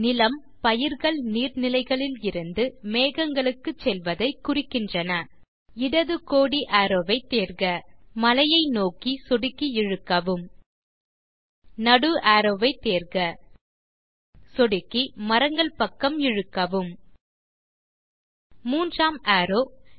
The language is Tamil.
நிலம் பயிர்கள் நீர்நிலைகளிலிருந்து மேகங்களுக்கு செல்வதை குறிக்கின்றன இடது கோடி அரோவ் ஐ தேர்க மலையை நோக்கி சொடுக்கி இழுக்கவும் நடு அரோவ் வை தேர்க சொடுக்கி மரங்கள் பக்கம் இழுக்கவும் மூன்றாம் அரோவ்